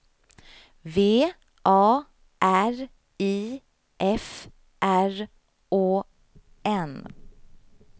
V A R I F R Å N